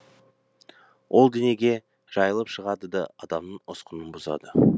ол денеге жайылып шығады да адамның ұсқынын бұзады